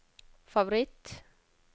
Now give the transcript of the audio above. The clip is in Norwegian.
favoritt